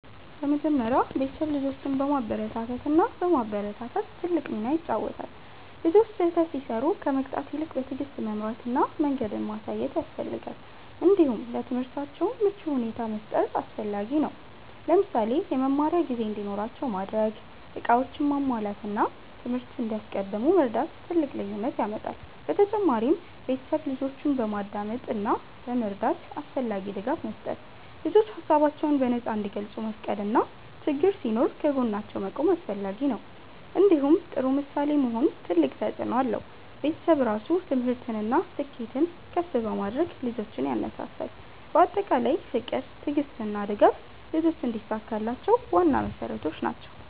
በመጀመሪያ ቤተሰብ ልጆችን በመበረታታት እና በማበረታታት ትልቅ ሚና ይጫወታል። ልጆች ስህተት ሲሰሩ ከመቅጣት ይልቅ በትዕግስት መምራት እና መንገድ ማሳየት ያስፈልጋል። እንዲሁም ለትምህርታቸው ምቹ ሁኔታ መፍጠር አስፈላጊ ነው። ለምሳሌ የመማሪያ ጊዜ እንዲኖራቸው ማድረግ፣ እቃዎቻቸውን ማሟላት እና ትምህርት እንዲያስቀድሙ መርዳት ትልቅ ልዩነት ያመጣል። በተጨማሪም ቤተሰብ ልጆችን በማዳመጥ እና በመረዳት አስፈላጊ ድጋፍ መስጠት። ልጆች ሀሳባቸውን በነፃ እንዲገልጹ መፍቀድ እና ችግኝ ሲኖር ከጎናቸው መቆም አስፈላጊ ነው። እንዲሁም ጥሩ ምሳሌ መሆን ትልቅ ተፅእኖ አለው። ቤተሰብ ራሱ ትምህርትን እና ስኬትን ከፍ በማድረግ ልጆችን ያነሳሳል። በአጠቃላይ ፍቅር፣ ትዕግስት እና ድጋፍ ልጆች እንዲሳካላቸው ዋና መሠረቶች ናቸው።